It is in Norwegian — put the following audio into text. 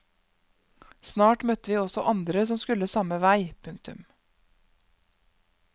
Snart møtte vi også andre som skulle samme vei. punktum